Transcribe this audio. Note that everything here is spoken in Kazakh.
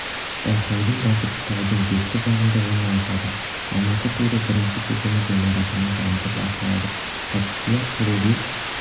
байқаудың бағыты таудың беткі жағында орналасады алматы туры бірінші кезеңі ғимаратының жанында басталады қатысушылар төле би